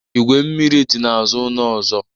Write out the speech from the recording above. Igwe mmiri dị n'azụ ọnụ ụzọ